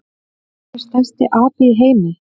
Hver er stærsti api í heimi?